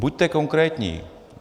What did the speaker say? Buďte konkrétní.